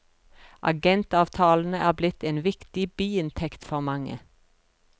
Agentavtalene er blitt en viktig biinntekt for mange.